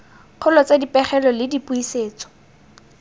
kgolo tsa dipegelo le dipusetso